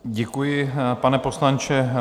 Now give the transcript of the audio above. Děkuji, pane poslanče.